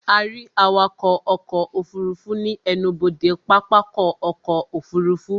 Ó rí awakọ̀ ọkọ̀ òfurufú ní ẹnubodè pápákọ̀ ọkọ̀ òfurufú